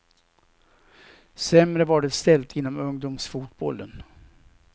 Sämre var det ställt inom ungdomsfotbollen.